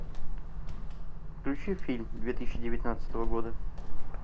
включи фильм две тысячи девятнадцатого года